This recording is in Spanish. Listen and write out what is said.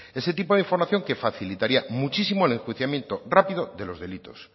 ese tipo de información que facilitaría muchísimo el enjuiciamiento rápido de los delitos